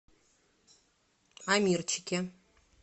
амирчике